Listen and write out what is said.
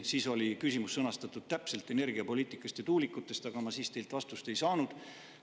Siis oli küsimus sõnastatud täpselt, see oli energiapoliitika ja tuulikute kohta, aga tookord ma teilt vastust ei saanud.